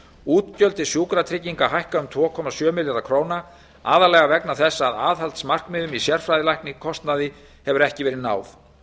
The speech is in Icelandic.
útgjöld til sjúkratrygginga hækka um tvö komma sjö milljarða króna aðallega vegna þess að aðhaldsmarkmiðum í sérfræðilækniskostnaði hefur ekki verið náð